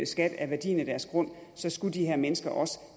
skat af værdien af deres grund så skal de her mennesker også